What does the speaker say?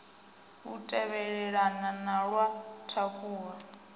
u tevhelelana na wa thakhula